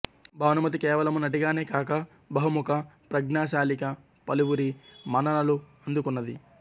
భానుమతి కేవలము నటిగానే కాక బహుముఖ ప్రజ్ఞాశాలిగా పలువురి మన్ననలు అందుకున్నది